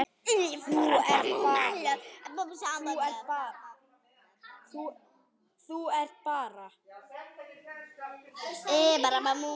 Þú getur andað léttar!